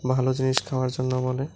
ভালো জিনিস খাওয়ার জন্য বলে।